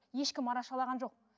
ешкім арашалаған жоқ